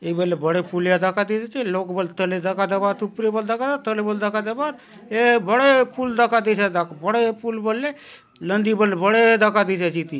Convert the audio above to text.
ये बले बड़े पुलिया दखा देयसे लोग बले तले दखा देबा आत ऊपरे बले दखा तले दखा देबा आत ये बड़े पूल दखा देयसी आचे दख बड़े बलले नदी बले बड़े दखा देयसी आचे इति --